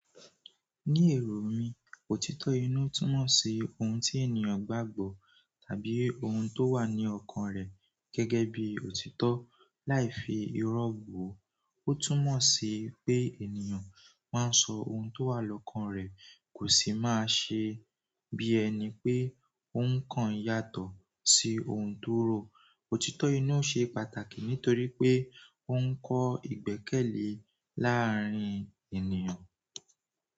Nii ero mi òtítọ́ inú tun mo si oun ti ènìyàn gbàgbọ́ tàbí oun to wa ni okan re geegee bi òtítọ́. Láì fi irọ́ wò ó, ó túnmọ̀ sí pé ènìyàn máa ń sọ ohun tó wà lọ́kàn rẹ̀, kò sì máa ṣe bí ẹni pé ó ń kàn yàtọ̀ sí ohun tó rò. Òtítọ́ inú ṣe pàtàkì nítorí pé ó ń kọ́ ìgbẹ́kẹ̀lé láàárín ènìyàn.